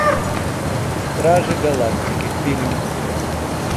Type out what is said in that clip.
стражи галактики фильм